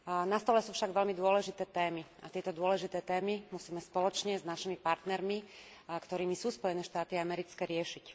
Na stole sú však veľmi dôležité témy a tieto dôležité témy musíme spoločne s našimi partnermi, ktorými sú Spojené štáty americké, riešiť.